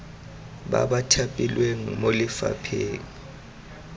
ba ba thapilweng mo lefapheng